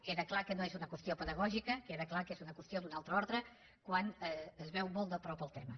queda clar que no és una qüestió pedagògica queda clar que és una qüestió d’un altre ordre quan es veu molt de prop el tema